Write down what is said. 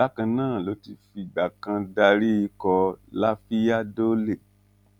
bákan náà ló ti fìgbà kan darí ikọ lafiya dole